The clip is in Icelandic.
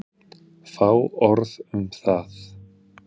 Fá orð um það.